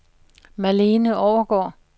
Malene Overgaard